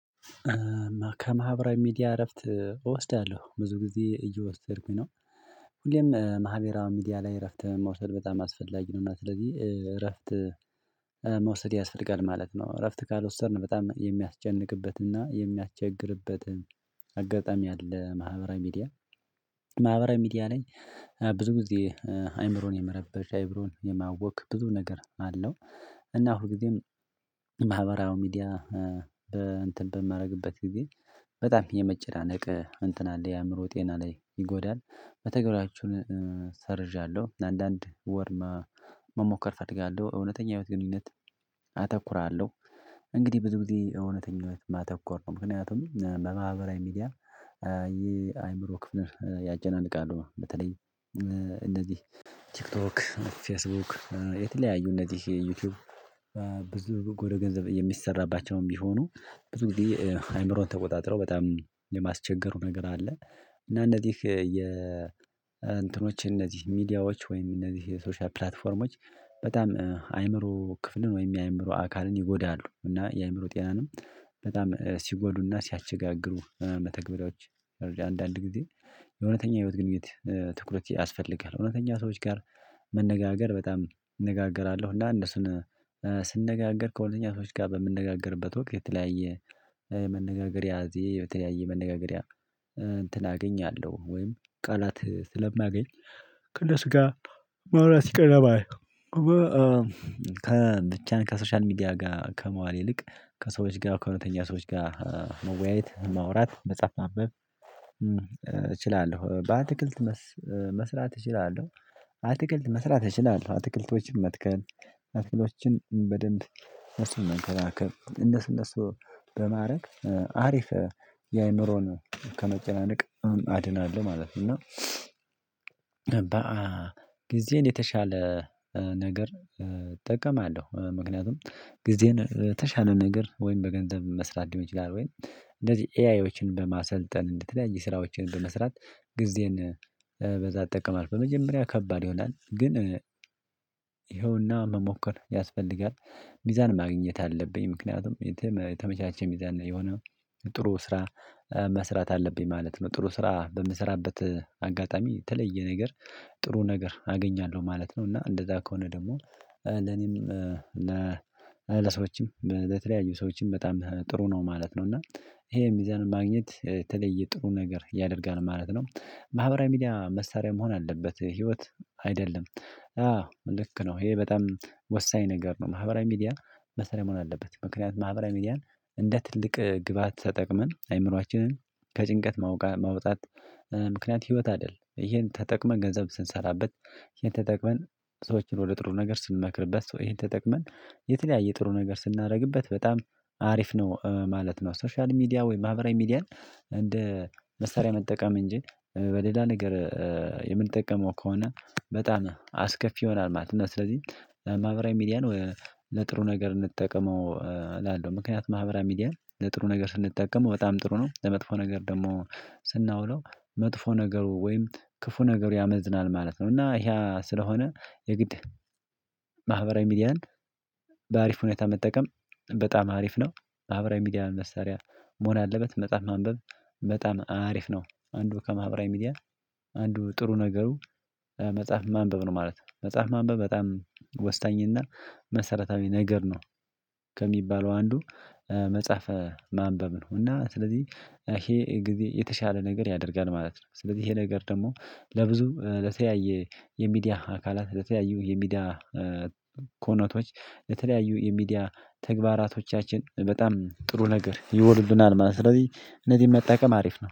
ከማህበራዊ ሚዲያ እረፍት እወስዳለሁ። ብዙ ጊዜ እየወሰድኩኝ ነው። ሁሌም ማህበራዊ ሚዲያ ላይ እረፍት መውሰድ በጣም አስፈላጊ ነው። እና ስለዚህ እረፍት መውሰድ ያስፈልጋል ማለት ነው። እረፍት ካልወሰድን በጣም የሚያስጨንቅበትና የሚያቸግርበትን አጋጣሚ ያለ ማህበራዊ ሚዲያ ማህበራዊ ሚዲያ ነኝ ብዙ ጊዜ አይምሮን የመረበሽ አይምሮን የማወቅ ብዙ ነገር አለው እና ሁል ጊዜም ማህበራዊ ሚዲያ በእንትን በማረግበት ጊዜ በጣም የመጨናነቅ እንትን አለ የአእምሮ ጤና ላይ ይጎዳል። በተግባራችሁን ሰርዣለሁ አንዳንድ ወር መሞከር ፈጥጋለሁ፣ እውነተኛ ህይወት ግንኙነት አተኩራለሁ፣ እንግድህ ብዙ ጊዜ የእውነተኝነት ማተኮር ነው ምክንያቱም በማህበራዊ ሚዲያ ይሄ አይምሮ ክፍል ያጨናንቃሉ። በተለይ እንደዚህ ቲክቶክ ፌስቡክ የተለያዩ እነዚህ ዩቲዩብ ብዙ ወደ ገንዘብ የሚሰራባቸውም ቢሆኑ ብዙ ጊዜ አይምሮን ተቆጣጥረው በጣም የማስቸገሩ ነገር አለ። እና እንዚህ የ እንትኖቼ እነዚህ ሚዲያዎች ወይም እነዚህ የሶሻል ፕላትፎርሞች በጣም አይምሮ ክፍልን ወይም የአይምሮ አካልን ይጎዳሉ እና የአእምሮ ጤናንም በጣም ሲጎዱና ሲያስቸጋግሩ መተግበሪያዎች አንዳንድ ጊዜ የእውነተኛ ህይወት ግንኙነት ትኩረት ያስፈልጋል እውነተኛ ሰዎች ጋር መነጋገር በጣም እነጋገራለሁ እና እነሱን ስነጋገር ከሁነኛ ሰዎች ጋር በምነጋገርበት ወቅት የተለያየ መነጋገሪያ ያዜ በተለያየ መነጋገሪያ እንትን አገኛለሁ። ወይም ቃላት ስለማገኝ ከነሱ ጋ ማውራት ይቀርባል ከብቻን ከሶሻል ሚዲያ ጋር ከመዋል ይልቅ ከሰዎች ጋር ከእውነተኛ ሰዎች ጋር መወያየት፣ ማውራት፣ መጽሐፍ ማንበብ እችላለሁ። በአትክልት መስ መስራት እችላለሁ። አትክልት መስራት እችላለሁ አትክልቶችን መትከል፣ አትክልቶሎችን በደንብ እሱን መንከባከብ እንደሱ እንደሱ በማድረግ አሪፍ የአእምሮን ከመጨናነቅ አድናለሁ ማለት ነው። እና በአ ጊዜን የተሻለ ነገር እጠቀማአለው። ምክንያቱም ጊዜን የተሻለ ነገር ወይም በገንዘብ መስራት ሊሆን ይችላል ወይም እንደዚህ ኤአዮችን በማሰልጠን እንደተለያየ ስራዎችን በመስራት ጊዜን በዛ እጠቀማለሁ በመጀመሪያ ከባድ ይሆናል ግን ይኸውና መሞከር ያስፈልጋል። ሚዛን ማግኘት አለብኝ ምክንያቱም የተመቻቸ ሚዛን የሆነ ጥሩ ስራ መስራት አለብኝ ማለት ነው። ጥሩ ስራ በምሰራበት አጋጣሚ የተለየ ነገር ጥሩ ነገር አገኛለሁ ማለት ነው። እና እንደዛ ከሆነ ደግሞ ለኔም ለ ለሰዎችም ለተለያዩ ሰዎችም በጣም ጥሩ ነው ማለት ነው። እና ይሄ የሚዛን ማግኘት የተለየ ጥሩ ነገር ያደርጋል ማለት ነው። ማህበራዊ ሚዲያ መሳሪያ መሆን አለበት ህይወት አይደለም አዎ ልክ ነው። ይሄ በጣም ወሳኝ ነገር ነው ማህበራዊ ሚዲያ መሳሪያ መሆን አለበት ምክንያቱም ማህበራዊ ሚዲያን እንደ ትልቅ ግብአት ተጠቅመን አእምሮአችንን ከጭንቀት ማውቃ ማውጣት ምክንያት ህይወት አደል ይሄን ተጠቅመን ገንዘብ ስንሰራበት፣ ይሄን ተጠቅመን ሰዎችን ወደ ጥሩ ነገር ስንመክርበት ሶ ይሄን ተጠቅመን የተለያየ ጥሩ ነገር ስናደርግበት በጣም አሪፍ ነው ማለት ነው። ሶሻል ሚዲያ ወይም ማህበራዊ ሚዲያን እንደ መሳሪያ መጠቀም እንጂ በሌላ ነገር የምንጠቀመው ከሆነ በጣም አስከፊ ይሆናል ማለት ነው። እና ስለዚህ ማህበራዊ ሚዲያን ለጥሩ ነገር እንጠቀመው እላለሁ። ምክንያቱም ማህበራዊ ሚዲያን ለጥሩ ነገር ስንጠቀመው በጣም ጥሩ ነው። ለመጥፎ ነገር ደግሞ ስናውለው መጥፎ ነገሩ ወይም ክፉ ነገሩ ያመዝናል ማለት ነው። እና ይሀ ስለሆነ የግድ ማህበራዊ ሚዲያን በአሪፍ ሁኔታ መጠቀም በጣም አሪፍ ነው። ማህበራዊ ሚዲያ መሰሪያ መሆን ያለበት፣ መጽሐፍ ማንበብ በጣም አሪፍ ነው። አንዱ ከማህበራዊ ሚዲያ አንዱ ጥሩ ነገሩ መጽሐፍ ማንበብ ነው ማለት ነው። መጽሐፍ ማንበብ በጣም ወሳኝና መሰረታዊ ነገር ነው። ከሚባለው አንዱ መጽሐፈ ማንበብ ነው። እና ስለዚህ ይሄ ጊዜ የተሻለ ነገር ያደርጋል ማለት ነው። ስለዚህ ይሄ ነገር ደግሞ ለብዙ ለተያየ የሚዲያ አካላት የተለያዩ የሚዲያ ኮነቶች የተለያዩ የሚዲያ ተግባራቶቻችን በጣም ጥሩ ነገር ይሆኑልናል ማለት ነው። ስለዚህ እነዚህን መጠቀም አሪፍ ነው።